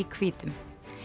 hvítum